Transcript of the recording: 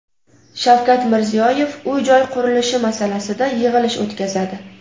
Shavkat Mirziyoyev uy-joy qurilishi masalasida yig‘ilish o‘tkazadi.